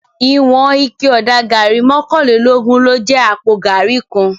Iwòn iké òdá gàrí mòkánlélógùn ló jè àpó gàrí kán